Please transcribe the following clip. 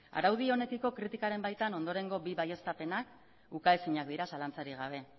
araudi honekiko kritikaren baitan ondorengo bi baieztapenak ukaezinak dira zalantzarik gabe